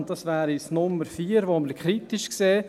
Diese wäre die Nr. 4, welche wir kritisch sehen.